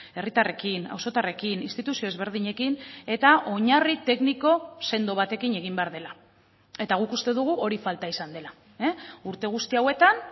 herritarrekin auzotarrekin instituzio ezberdinekin eta oinarri tekniko sendo batekin egin behar dela eta guk uste dugu hori falta izan dela urte guzti hauetan